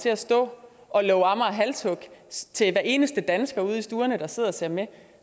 til at stå og love amager halshug til hver eneste dansker ude i stuerne der sidder og ser med